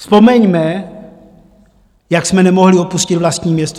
Vzpomeňme, jak jsme nemohli opustit vlastní město.